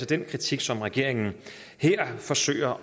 den kritik som regeringen her forsøger